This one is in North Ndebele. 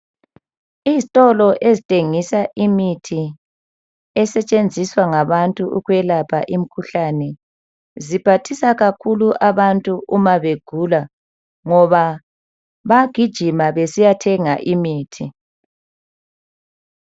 Izitolo ezithengisa imithi esetshenziswa ngabantu ukwelapha imkhuhlane. Ziphathisa kakhulu abantu uma begula ngoba bagijima besiya thenga imithi.